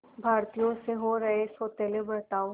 भारतीयों से हो रहे सौतेले बर्ताव